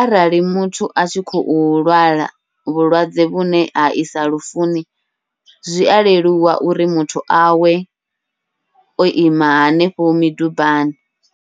arali muthu atshi khou lwala vhulwadze vhune ha isa lufuni zwia leluwa uri muthu awe oima hanefho midubani.